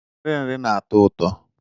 Nri nri na-atọ ụtọ.